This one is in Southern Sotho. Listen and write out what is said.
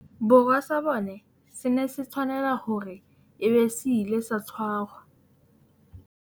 Borwa sa bone se ne se tshwanela hore e be se ile sa tshwarwa